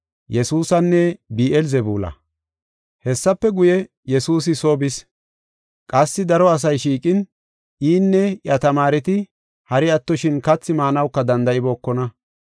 Hessafe guye, Yesuusi soo bis. Qassi daro asay shiiqin, inne iya tamaareti hari attoshin kathi maanawuka danda7ibookona.